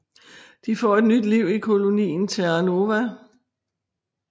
De får et nyt liv i kolonien Terra Nova